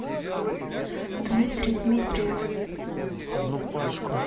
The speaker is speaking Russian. дмитрий дмитриев